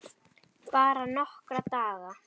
Bara nokkra daga.